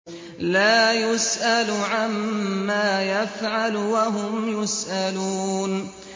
لَا يُسْأَلُ عَمَّا يَفْعَلُ وَهُمْ يُسْأَلُونَ